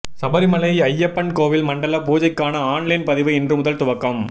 சபரிமலை ஐயப்பன் கோவில் மண்டல பூஜைக்கான ஆன்லைன் பதிவு இன்று முதல் துவக்கம்